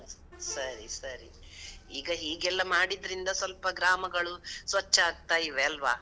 ಸರಿ ಸರಿ, ಈಗ ಹೀಗೆಲ್ಲ ಮಾಡಿದ್ರಿಂದ ಸ್ವಲ್ಪ ಗ್ರಾಮಗಳು ಸ್ವಚ್ಛ ಅಗ್ತಾ ಇವೆ ಅಲ್ವ?